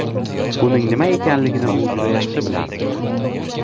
Buning nima ekanligini u juda yaxshi bilardi.